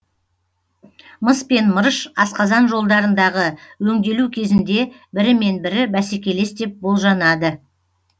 мыс пен мырыш асқазан жолдарындағы өңделу кезінде бірімен бірі бәсекелес деп болжанады